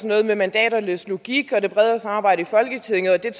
noget med mandaternes logik og det bredere samarbejde i folketinget og det